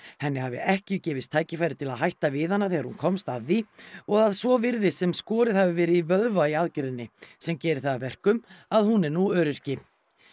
henni hafi ekki gefist tækifæri til að hætta við hana þegar hún komst að því og að svo virðist sem skorið hafi verið í vöðva í aðgerðinni sem gerir það að verkum að hún er nú öryrki